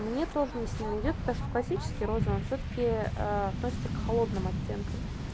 мне тоже не сильно идёт потому что классические розовый он всё-таки относится к холодным оттенкам